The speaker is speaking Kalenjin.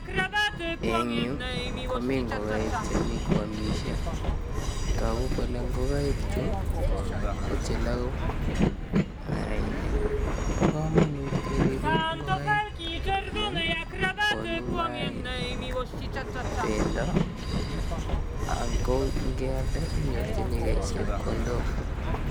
Eng' yu komi ngokaik chemi kwomishei toku kole ngokaik chu ko cheloku mayainik bo kamanut keribei ngokaik amun konu mayaik bendo ako ngialde inyorchigei chepkondok